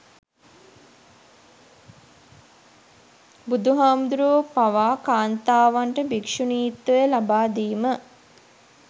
බුදු හාමුදුරුවෝ පවා කාන්තාවන්ට භික්ෂුණීත්වය ලබාදීම